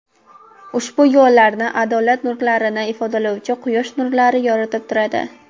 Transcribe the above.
Ushbu yo‘llarni adolat nurlarini ifodalovchi quyosh nurlari yoritib turadi.